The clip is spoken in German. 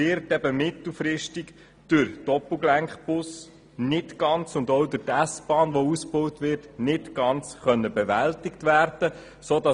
Diese werden mittelfristig mit Doppelgelenkbussen und der auszubauenden S-Bahn nicht ganz bewältigt werden können.